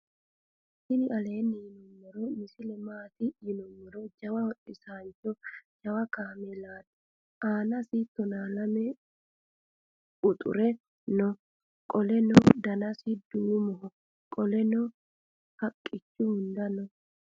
tini aleni yiinumoro misile maati .yiinumor. jawa hodhisancho jawakamelati anasi tona lame quxure noo. qoleno danasi dumoho. qoleleno haaqichu hunda noo.